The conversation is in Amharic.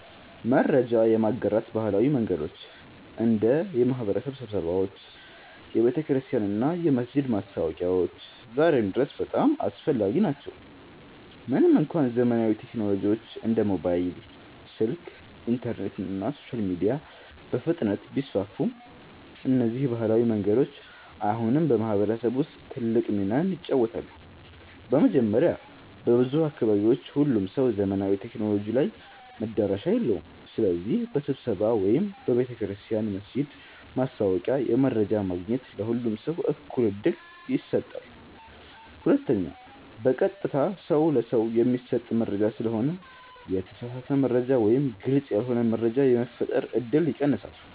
መረጃ የማጋራት ባህላዊ መንገዶች እንደ የማህበረሰብ ስብሰባዎች፣ የቤተክርስቲያን እና የመስጊድ ማስታወቂያዎች ዛሬም ድረስ በጣም አስፈላጊ ናቸው። ምንም እንኳ ዘመናዊ ቴክኖሎጂዎች እንደ ሞባይል ስልክ፣ ኢንተርኔት እና ሶሻል ሚዲያ በፍጥነት ቢስፋፉም፣ እነዚህ ባህላዊ መንገዶች አሁንም በማህበረሰብ ውስጥ ትልቅ ሚና ይጫወታሉ። መጀመሪያ፣ በብዙ አካባቢዎች ሁሉም ሰው ዘመናዊ ቴክኖሎጂ ላይ መዳረሻ የለውም። ስለዚህ በስብሰባ ወይም በቤተ ክርስቲያን/መስጊድ ማስታወቂያ መረጃ ማግኘት ለሁሉም ሰው እኩል ዕድል ይሰጣል። ሁለተኛ፣ በቀጥታ ሰው ለሰው የሚሰጥ መረጃ ስለሆነ የተሳሳተ መረጃ ወይም ግልጽ ያልሆነ መረጃ የመፈጠር እድል ይቀንሳል።